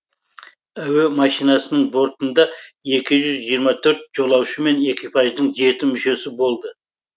әуе машинасының бортында екі жүз жиырма төрт жолаушы мен экипаждың жеті мүшесі болды